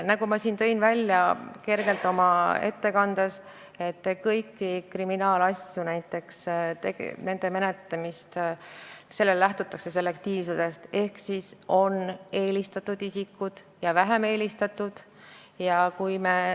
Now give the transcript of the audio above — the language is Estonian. Nagu ma juba tõin kergelt oma ettekandes välja, lähtutakse kriminaalasjade menetlusse võtmisel ja menetlemisel selektiivsusest ehk on eelisolukorras isikud ja ilma eeliseta isikud.